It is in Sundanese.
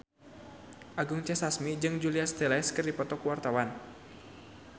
Anggun C. Sasmi jeung Julia Stiles keur dipoto ku wartawan